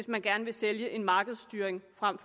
man gerne vil sælge en markedsstyring frem